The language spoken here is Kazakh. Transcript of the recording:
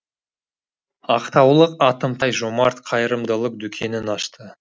ақтаулық атымтай жомарт қайырымдылық дүкенін ашты